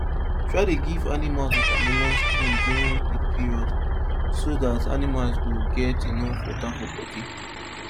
try dey give animals watermelon skin during heat period so that animals go get enough water for body